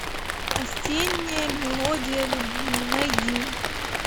осенняя мелодия любви найди